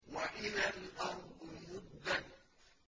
وَإِذَا الْأَرْضُ مُدَّتْ